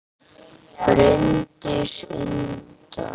Bryndís Inda